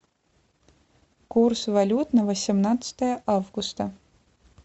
курс валют на восемнадцатое августа